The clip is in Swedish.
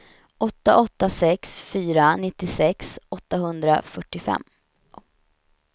åtta åtta sex fyra nittiosex åttahundrafyrtiofem